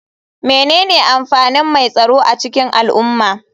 Menene amfanin mai tsaro a cikin al'umma?